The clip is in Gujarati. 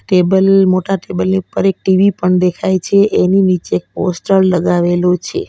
ટેબલ મોટા ટેબલ ની ઉપર એક ટી_વી પણ દેખાય છે એની નીચે એક પોસ્ટર લગાવેલું છે.